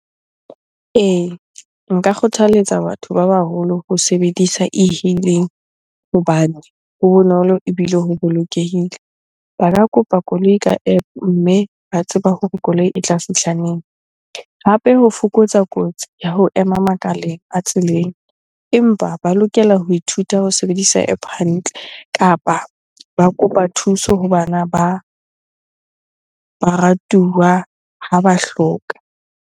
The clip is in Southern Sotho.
Ee, nka kgothaletsa batho ba baholo ho sebedisa e-hailing hobane ho bonolo ebile ho bolokehile. Ba ka kopa koloi ka App-o mme ba tseba hore koloi e tla fihla neng? Hape ho fokotsa kotsi ya ho ema makaleng a tseleng. Empa ba lokela ho ithuta ho sebedisa App-o hantle kapa ba kopa thuso ho bana ba baratuwa ha ba hloka.